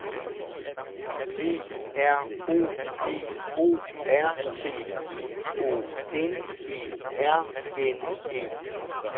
P R O P O R T I O N E R N E